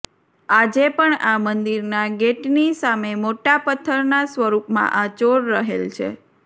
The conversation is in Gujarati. આજે પણ આ મંદિરના ગેટની સામે મોટા પત્થરના સ્વરૂપમાં આ ચોર રહેલ છે